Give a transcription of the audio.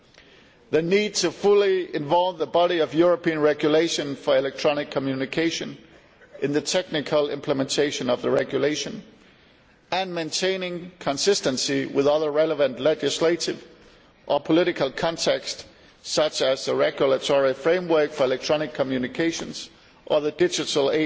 and the need to fully involve the body of European regulation for electronic communication in the technical implementation of the regulation and maintain consistency with other relevant legislative or political contexts such as the regulatory framework for electronic communications or the Digital